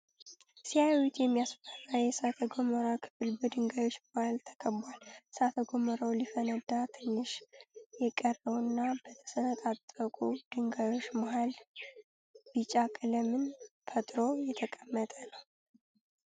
ሲያዩት የሚያስፈራ የእሳተ ጎመራ ክፍል በድንጋዮች መሃል ተከቧል። እሳተ ጎመራው ሊፈነዳ ትንሽ የቀረው እና በተሰነጣጠቁ ድንጋዮች መሃል ቢጫ ቀለምን ፈጥሮ የተቀመጠ ነው።